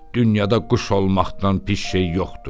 Dünyada quş olmaqdan pis şey yoxdur.